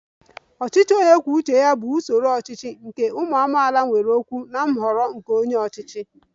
Ọchịchị onye kwuo uche ya bụ usoro ọchịchị nke ụmụ amaala nwere okwu na nhọrọ nke onye ọchịchị